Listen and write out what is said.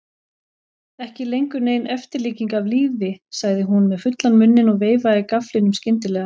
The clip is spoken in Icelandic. Ekki lengur nein eftirlíking af lífi, sagði hún með fullan munninn og veifaði gafflinum skyndilega.